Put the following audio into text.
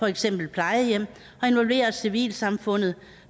eksempel plejehjem og involvere civilsamfundet